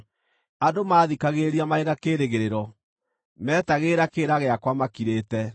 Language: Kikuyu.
“Andũ maathikagĩrĩria marĩ na kĩĩrĩgĩrĩro, meetagĩrĩra kĩrĩra gĩakwa makirĩte.